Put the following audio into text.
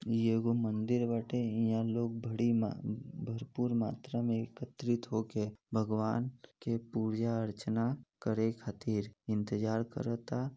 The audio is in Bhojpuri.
ई एगो मंदिर बांटे इहा लोग बड़ी भरपूर मात्रा एकत्रित हो के भगवान की पूजा अर्चना करे खातिर इंतजार करता --